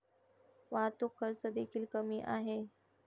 वाहतूक खर्च देखील कमी आहे.